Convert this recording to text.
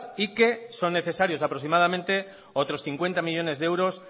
y que son necesarios aproximadamente otros cincuenta millónes de euros